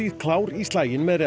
klár í slaginn með